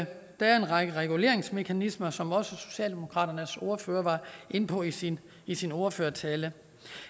er en række reguleringsmekanismer som også socialdemokratiets ordfører var inde på i sin i sin ordførertale